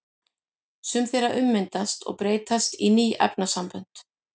Sum þeirra ummyndast og breytast í ný efnasambönd.